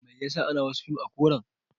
Mai yasa ana wasu fim ɗin a koran